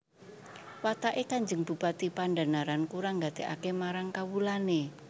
Wataké Kanjeng Bupati Pandhanaran kurang nggatékaké marang kawulané